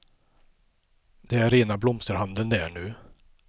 Det är rena blomsterhandeln där nu.